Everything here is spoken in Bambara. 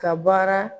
Ka baara